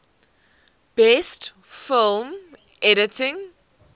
best film editing